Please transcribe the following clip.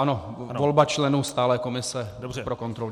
Ano, volba členů stálé komise pro kontrolu.